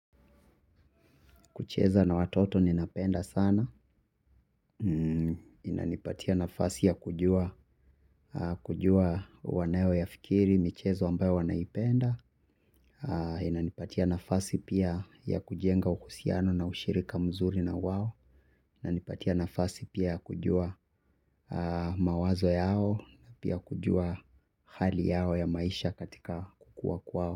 Kucheza na watoto ninapenda sana. Inanipatia nafasi ya kujua wanayo ya fikiri, michezo ambayo wanaipenda. Inanipatia nafasi pia ya kujenga uhusiano na ushirika mzuri na wao. Inanipatia nafasi pia ya kujua mawazo yao na pia kujua hali yao ya maisha katika kukua kwao.